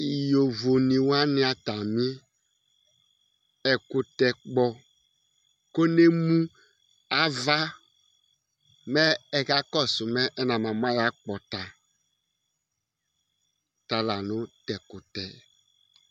Yovo ni wani atami ɛkʋtɛ Kpɔ kʋ ne mʋ ava mɛ ɛkakɔsu mɛ ɛnabamu ayʋ akpɔta Talanʋ tʋ ɛkʋtɛ yɛ